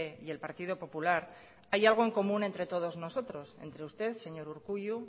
y el partido popular hay algo en común entre todos nosotros entre usted señor urkullu